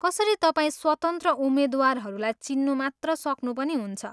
कसरी तपाईँ स्वतन्त्र उम्मेद्वारहरूलाई चिन्नु मात्र सक्नु पनि हुन्छ?